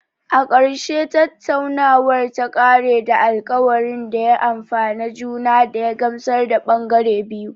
A ƙarshe, tattaunawar ta ƙare da alkawarin da ya amfane juna da ya gamsar da ɓangare biyu